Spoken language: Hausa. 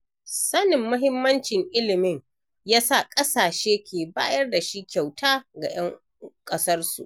Sanin muhimmancin ilimi ya sa ƙasashe ke bayar da shi kyauta ga 'yan ƙasarsu.